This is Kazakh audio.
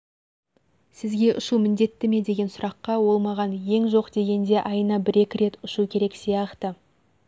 сізге ұшу міндеттіме деген сұраққа ол маған ең жоқ дегенде айына екі рет ұшу керек сияқты